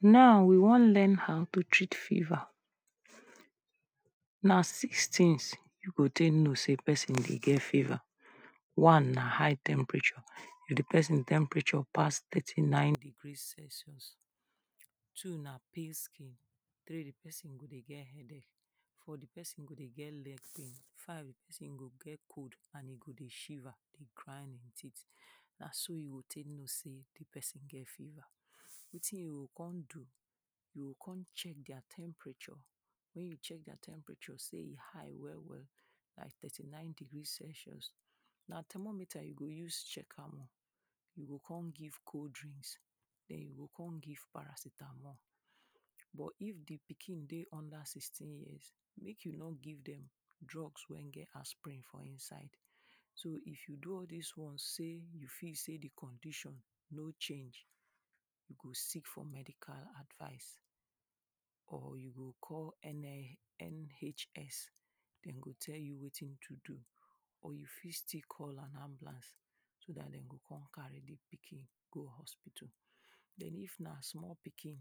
Now we wan learn how to treat fever. Na six things you go take know sey person dey get fever, one na high temperature, di person temperature pass thirty nine degree celsius, two na pale skin, three di person go dey get headache, four di person go dey get leg pain, five di person go dey get cold and e go dey shiver dey grind in teeth na so you go take know sey di person get fever, wetin you go come do, you go come check their temperature, wen you check their temperature sey e high well well like thirty nine degree Celsius, na thermometer you go use check am oh, you go come give cold drinks den you go come give paracetamol. But if di pikin dem dey under sixteen years, make you no give dem drugs wey get [2] for inside. so if you do all dis one, sey you feel sey di condition nor change, you go seek for medical advice, or you go call [2], NHS dem go tell you wetin to do, or you fit still call an ambulance, so dat dem go come carry di pikin go hospital. Den if na small pikin,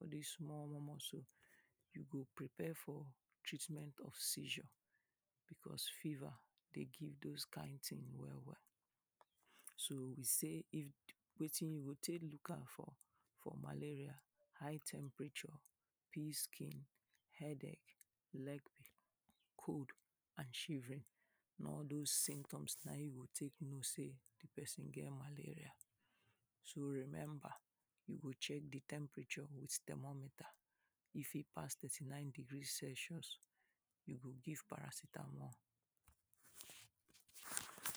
all dis small omomo so you go prepare for treatment of seizure, because fever dey give doz kind things well well. So we sey [2] wetin you go take look out for for malaria, high temperature, pale skin, headache, leg, cold and shivering. Na all doz symptoms na im you go take know sey di person get malaria. So remember, you go check di temperature with thermometer, if e pass thirty nine degree Celsius, you go give paracetamol, [2]